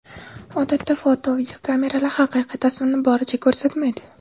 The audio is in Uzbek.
Odatda foto, videokameralar haqiqiy tasvirni boricha ko‘rsatmaydi.